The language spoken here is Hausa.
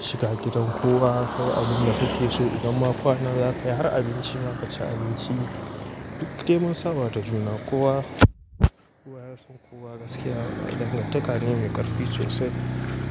shiga gidan kowa kai abunda kuke so idan ma kwanan za ka yi har abinci zaka ci abinci. Duk dai mun sabada juna kowa, kowa ya san kowa gaskiya dangantaka ne mai ƙarfi sosai.